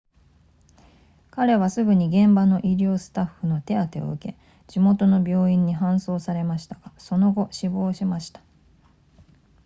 彼はすぐに現場の医療スタッフの手当てを受け地元の病院に搬送されましたがその後死亡しました